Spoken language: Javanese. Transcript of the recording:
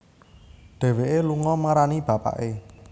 Dhéwéké lunga marani bapaké